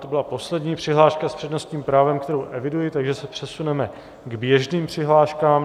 To byla poslední přihláška s přednostním právem, kterou eviduji, takže se přesuneme k běžným přihláškám.